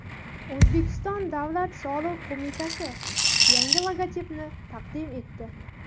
O‘zbekiston Davlat soliq qo‘mitasi yangi logotipini taqdim etdi.